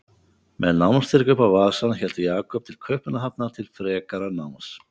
Með námsstyrk upp á vasann hélt Jakob til Kaupmannahafnar til frekara náms.